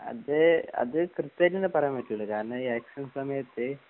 അത് അത് കൃത്യമായിട്ടൊന്നും പറയാൻ പറ്റൂലല്ലോ കാരണം ഈ ഇലക്ഷൻ സമയത്ത്